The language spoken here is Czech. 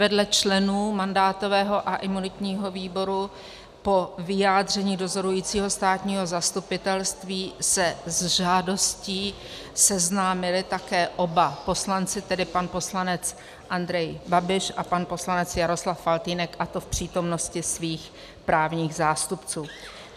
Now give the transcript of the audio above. Vedle členů mandátového a imunitního výboru po vyjádření dozorujícího státního zastupitelství se s žádostí seznámili také oba poslanci, tedy pan poslanec Andrej Babiš a pan poslanec Jaroslav Faltýnek, a to v přítomnosti svých právních zástupců.